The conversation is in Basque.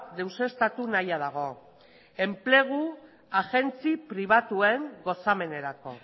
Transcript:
deuseztatu nahia dago enplegu agentzi pribatuen gozamenerako